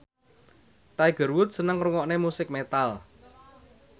Tiger Wood seneng ngrungokne musik metal